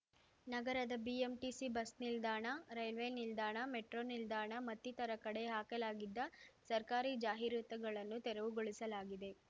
ನಗರದ BMTC bus ನಿಲ್ದಾಣ railway ನಿಲ್ದಾಣ ಮೆಟ್ರೋ ನಿಲ್ದಾಣ ಮತ್ತಿತರ ಕಡೆ ಹಾಕಲಾಗಿದ್ದ ಸರ್ಕಾರಿ ಜಾಹೀರಾತುಗಳನ್ನು ತೆರವುಗೊಳಿಸಲಾಗಿದೆ